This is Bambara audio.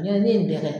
Yanni ne ye bɛɛ kɛ